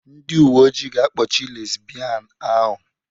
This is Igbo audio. Ndị uwe ojii ga-akpọchi lesibian ahụ.